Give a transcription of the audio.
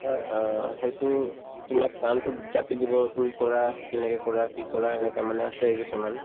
অ, সেইটো তোমাক কামতোত জাপি দিব তুমি কৰা কেনেকে কৰা কি কৰা এনেকে মানে আছেই কিছুমান